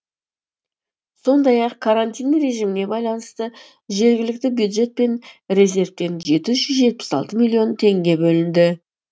сондай ақ карантин режиміне байланысты жергілікті бюджет пен резервтен жеті жүз жетпіс алты миллион теңге бөлінді